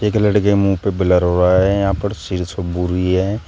एक लड़के के मुंह पे ब्लर हो रहा है यहां पर शीर्ष भूरी है।